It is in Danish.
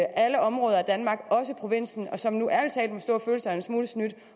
alle områder af danmark også i provinsen og som nu ærlig talt må stå og føle sig en smule snydt